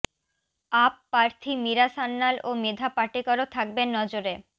up প্রার্থী মীরা সান্যাল ও মেধা পাটেকরও থাকবেন নজরে